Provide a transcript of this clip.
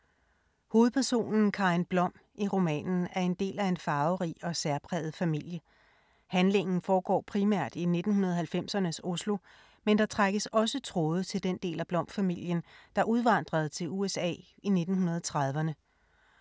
Hovedpersonen Karin Blom i romanen er del af en farverig og særpræget familie. Handlingen foregår primært i 1990’ernes Oslo, men der trækkes også tråde til den del af Blom-familien, der udvandrede til USA i 1930’erne.